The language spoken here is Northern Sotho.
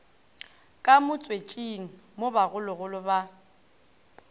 ka motswetšing mo bogologolo ba